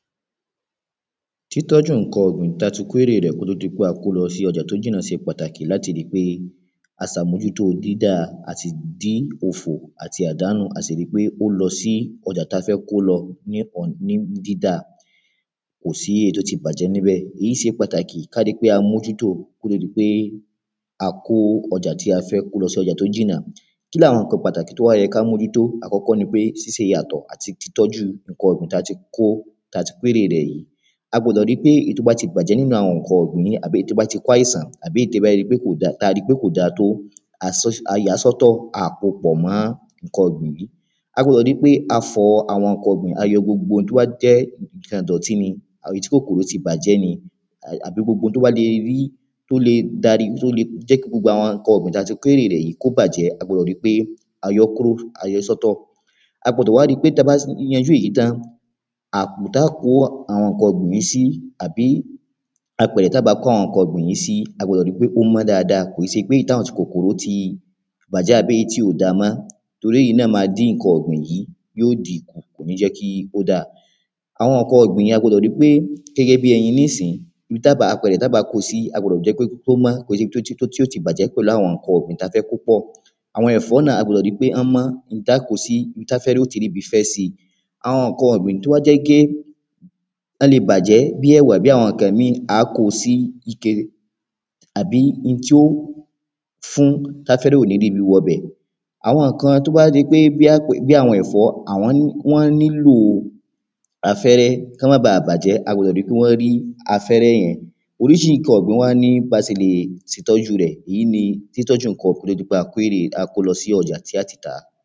títọ́ju ǹkan ọ̀gbìn tí a ti kó ère rẹ̀ kò tó di pé a kó o lọ sí ọjà tó jìnà ṣe pàtàkì láti ríi pe à ṣè àmójútó dídá àti dín òfo àti àdánù a sì ríi pé ó lọ sí ọjà tí a fẹ́ kò lọ sí nì dídà kò sí èyí tó ti bàjẹ́ níbẹ̀, èyí ṣe pàtàkì kí a ríi pé à mójúto kó tó di pé a kó o ọjà tí a fẹ́ kó o lọ síbi tó jìnà kínni àwọn ǹkan pàtàkì tó yẹ kí á mójútó, àkọ́kọ́ ni pé ṣíṣe ìyàtọ̀ àti ìtọ́jú ǹkan ọ̀gbìn tí a ti kó ère rẹ̀ yìí a gbọdọ̀ ríi pé ǹkan tó bá ti bàjẹ́ nínu àwọn ǹkan ọ̀gbìn yìí, àbí èyí tó bá ti kó àìsàn tàbí èyí tí a bá ríi pé kò dáa tó a yàá sọ́tọ̀, a ò kóo pọ̀ mọ́ ǹkan ọ̀gbìn yìí a gbọdọ̀ ríi pé a fọ ǹkan ọ̀gbìn gbogbo oun tó bá jẹ́ ìdọ̀tí àbí èyí tí kòkòrò ti bà jẹ́ ni àbí èyí ǹkan tí a bá lè rí tí ó lè jẹ́ kí gbogbo ǹkan èrè kó bàjẹ́ a gbọdọ̀ ríi pé a yọ ọ́ kúrò a yọ ọ́ sọ́tọ̀ a gbọdọ̀ ríi pé tí a bá ṣe ìrú èyí tán, àpò táa kó àwọn ǹkan ọ̀gbìn yìí sí tàbí apẹ̀rẹ̀ tí a bá kó àwọn ǹkan ọ̀gbìn yìí sí a gbọ́dọ̀ ríi pé ó mọ́ dáadáa, kò ṣe pé àwọn èyí tí kòkòro ti bàjẹ́ èyí tí kò dáa mọ́ torí èyí náà máa dín ǹkan ọ̀gbìn kù kò ní jẹ́ kí ó dáa àwọn ǹkan ọ̀gbìn yìí a gbọ́dọ̀ ríi pé ó dáa, gẹ́gẹ́ bí ẹyin nísìn ibi tí a bá apẹ̀rẹ̀ ta bá kóo sí ó mọ́ kìí ṣe bi tí yóò ti bàjẹ́ pẹ̀lu àwọn ǹkan ọ̀gbìn ta fẹ́ kó pọ̀. Àwon ẹ̀fọ́ náà a gbọdọ̀ ríi pé ibì tí a kó o sí ó mọ́, ibi tí afẹ́rẹ́ yóò ti ríbi fẹ́ síi àwọn ǹkan ọ̀gbìn tó bá jẹ́ pé wọ́n lè bàjẹ́ gẹ́gẹ́ bíi ẹ̀wà, a ó kó wọn síke tàbí ibi tí ó fún tí afẹ́fẹ́ ò lè ríbi wọ ibẹ̀ àwọn ǹkan bí ẹ̀fọ wa àwọn nílo afẹ́rẹ́ kò má báa bàjẹ́ a gbọdọ̀ ríi pé wọ́n rí afẹ́rẹ́ yẹn oríṣiríṣi ǹkan ọ̀gbìn wá ní bí a ṣe ń tọ́ju wọn èyí ni bí a ṣe lè tọ́ju ǹkan oko kí á tó kó wọn lọ sí ọjà láti tàá